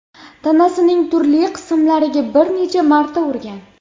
tanasining turli qismlariga bir necha marta urgan.